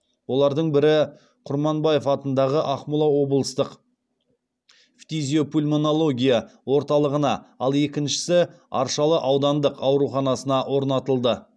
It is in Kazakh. олардың бірі құрманбаев атындағы ақмола облыстық фтизиопульмонология орталығына ал екіншісі аршалы аудандық ауруханасына орнатылды